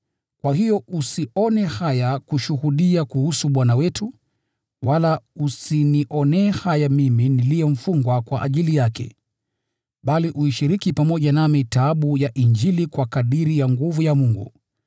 Kwa hiyo usione haya kushuhudia kuhusu Bwana wetu, wala usinionee haya mimi niliye mfungwa kwa ajili yake. Bali uishiriki pamoja nami taabu ya Injili, kwa kadiri ya nguvu ya Mungu,